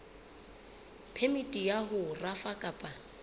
phemiti ya ho rafa kapa